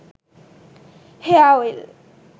hair oil